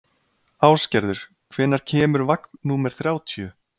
Ásgerður, hvenær kemur vagn númer þrjátíu?